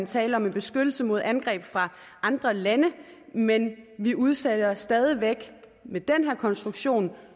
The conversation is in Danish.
tale om beskyttelse mod angreb fra andre lande men vi udsætter stadig væk med den her konstruktion